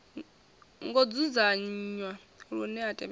ngo dzudzanywa lune a tevhekana